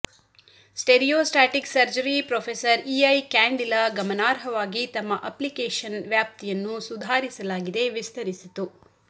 stereotactic surgery ಪ್ರೊ ಇ ಐ ಕ್ಯಾಂಡಿಲ ಗಮನಾರ್ಹವಾಗಿ ತಮ್ಮ ಅಪ್ಲಿಕೇಶನ್ ವ್ಯಾಪ್ತಿಯನ್ನು ಸುಧಾರಿಸಲಾಗಿದೆ ವಿಸ್ತರಿಸಿತು